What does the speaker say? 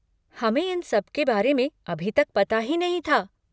हमें इन सब के बारे में अभी तक पता ही नहीं था।